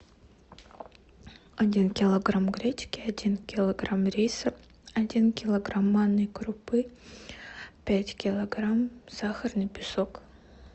один килограмм гречки один килограмм риса один килограмм манной крупы пять килограмм сахарный песок